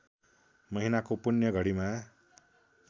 महिनाको पुण्य घडीमा